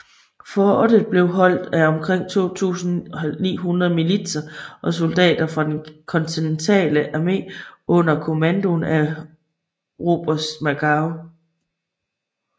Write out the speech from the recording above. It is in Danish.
Fortet blev holdt af omkring 2900 militser og soldater fra den kontinentale armé under kommandoen af oberst Robert Magaw